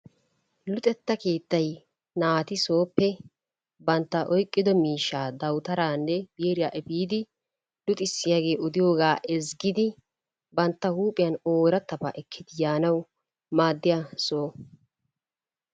Luxxetta keettay naati sooppe bantta oyqqido miishshaa dawutaraanne, biiriya efiidi luxxissiyaagee odiyoogaa ezzigidi bantta huuphphiyaan ooratabaa ekki yaanawu maaddiya soho.